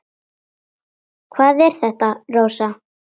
Hvað er þetta, Rósa?